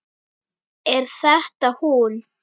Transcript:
Er þetta hún?